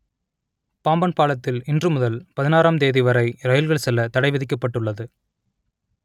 பாம்பன் பாலத்தில் இன்று முதல் பதினாறாம் தேதி வரை ரயில்கள் செல்ல தடைவிதிக்கப்பட்டுள்ளது